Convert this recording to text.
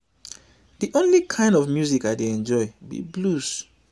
the only kin of music i dey enjoy be blues